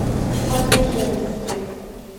хадыженске